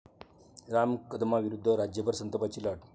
राम कदमांविरोधात राज्यभर संतापाची लाट